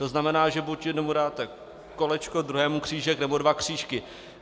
To znamená, že buď jednomu dáte kolečko, druhému křížek, nebo dva křížky.